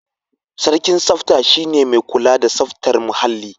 Sarkin tsafta shi ne mai kula da tsaftar muhalli.